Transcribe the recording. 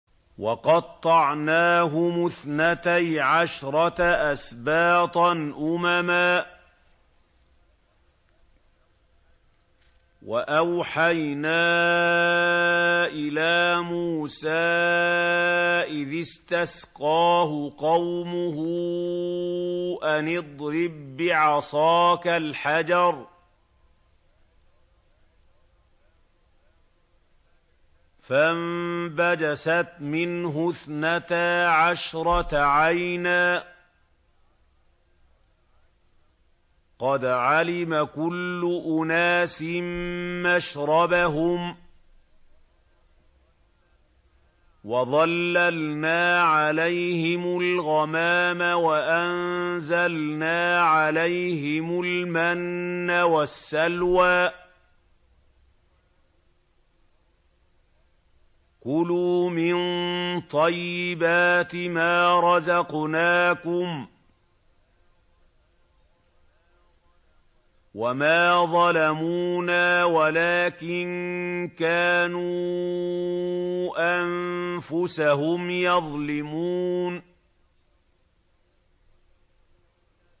وَقَطَّعْنَاهُمُ اثْنَتَيْ عَشْرَةَ أَسْبَاطًا أُمَمًا ۚ وَأَوْحَيْنَا إِلَىٰ مُوسَىٰ إِذِ اسْتَسْقَاهُ قَوْمُهُ أَنِ اضْرِب بِّعَصَاكَ الْحَجَرَ ۖ فَانبَجَسَتْ مِنْهُ اثْنَتَا عَشْرَةَ عَيْنًا ۖ قَدْ عَلِمَ كُلُّ أُنَاسٍ مَّشْرَبَهُمْ ۚ وَظَلَّلْنَا عَلَيْهِمُ الْغَمَامَ وَأَنزَلْنَا عَلَيْهِمُ الْمَنَّ وَالسَّلْوَىٰ ۖ كُلُوا مِن طَيِّبَاتِ مَا رَزَقْنَاكُمْ ۚ وَمَا ظَلَمُونَا وَلَٰكِن كَانُوا أَنفُسَهُمْ يَظْلِمُونَ